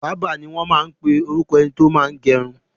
Bábà ni wọ́n ń pe ẹni tó máa ń gẹrun.